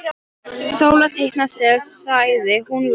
Sóla teikna sel, sagði hún lágt.